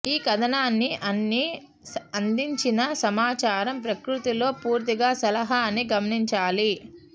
ఈ కథనాన్ని అన్ని అందించిన సమాచారం ప్రకృతిలో పూర్తిగా సలహా అని గమనించాలి